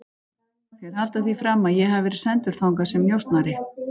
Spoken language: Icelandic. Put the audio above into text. Þeir halda því fram að ég hafi verið sendur þangað sem njósnari